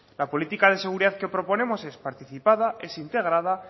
la política de seguridad que proponemos es participada es integrada